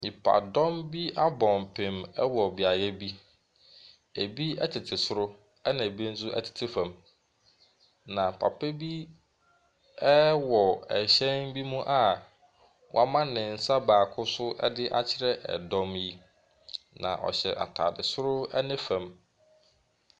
Nnipadɔm bi abɔ mpim ɛwɔ beaeɛ bi. Ebi ɛtete soro ɛna ebi ɛnso ɛtete fam. Na papa bi ɛwɔ ɛhyɛn bi mu a wɔama ne nsa baako so ɛdeakyerɛ ɛdɔm yi. Na ɔhyɛ ataade soro ne fam.